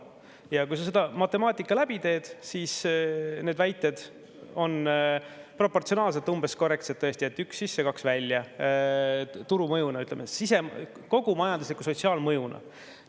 Ja kui sa selle matemaatika läbi teed, siis need väited on proportsionaalselt tõesti umbes korrektsed: üks sisse, kaks välja – turumõjuna, ütleme, kogu majandusliku sotsiaalmõjuna.